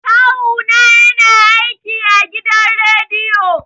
Kawu na ya na aiki a gidan rediyo